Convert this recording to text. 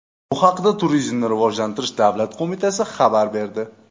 Bu haqda Turizmni rivojlantirish davlat qo‘mitasi xabar berdi.